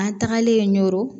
An tagalen ɲo